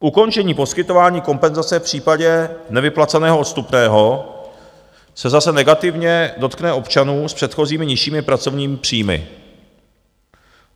Ukončení poskytování kompenzace v případě nevyplaceného odstupného se zase negativně dotkne občanů s předchozími nižšími pracovními příjmy.